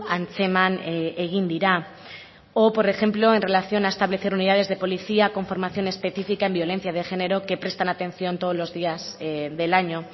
antzeman egin dira o por ejemplo en relación a establecer unidades de policía con formación específica en violencia de género que prestan atención todos los días del año